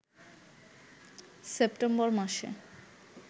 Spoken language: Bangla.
সেপ্টেম্বর মাসে